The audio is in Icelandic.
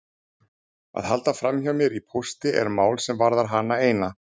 Að halda framhjá mér í pósti er mál sem varðar hana eina.